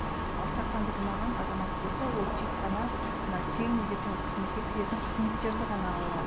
ал сақтандырылмаған азамат болса ол тек қана мына тегін медициналық қызметке кіретін қызметтерді ғана ала алады